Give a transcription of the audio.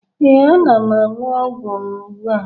ee, ana m aṅụ ọgwụ m ugbu a